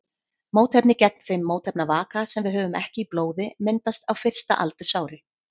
Mótefni gegn þeim mótefnavaka sem við höfum ekki í blóði myndast á fyrsta aldursári.